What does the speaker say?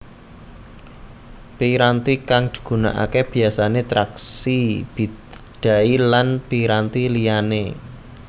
Piranti kang digunakake biyasane traksi bidai lan piranti liyane